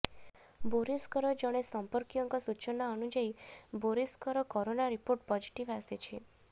ବୋରିସ୍ଙ୍କର ଜଣେ ସମ୍ପର୍କୀୟଙ୍କ ସୂଚନା ଅନୁଯାୟୀ ବୋରିସ୍ଙ୍କ କରୋନା ରିପୋର୍ଟ ପଜିଟିଭ୍ ଆସିଛି